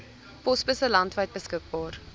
posbusse landwyd beskikbaar